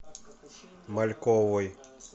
мальковой